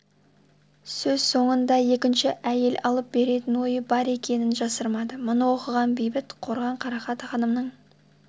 сөз соңында екінші әйел алып беретін ойы бар екенін жасырмады мұны оқыған бейбіт қорған қарақат ханымның